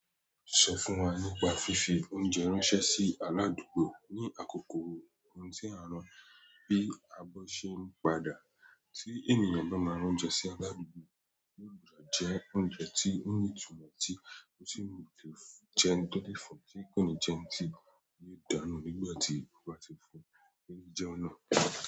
Sọ fún wa nípa fífi oúnjẹ ránṣẹ́ sí aládùúgbò. Ni àkókò ohun tí a rán bí a bá ṣe ń padà tí ènìyàn bá máa rán oúnjẹ sí aládùúgbò, ó gbọdọ̀ jẹ oúnjẹ tí ó ní ìtumọ̀ tí ó sì lè jẹ́ tó lé fún tí kò ní jẹ́ ẹni tí yóò dànù nígbà tí ó bá ti fún ni oúnjẹ n náà.